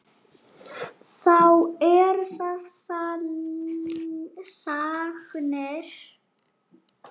Þá eru það sagnir.